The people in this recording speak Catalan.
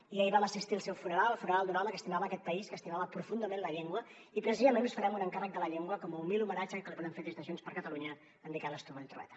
i ahir vam assistir al seu funeral el funeral d’un home que estimava aquest país que estimava profundament la llengua i precisament us farem un encàrrec de la llengua com a humil homenatge que li volem fer des de junts per catalunya a en miquel strubell i trueta